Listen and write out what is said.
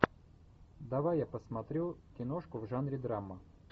давай я посмотрю киношку в жанре драма